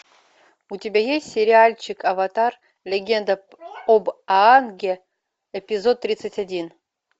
у тебя есть сериальчик аватар легенда об аанге эпизод тридцать один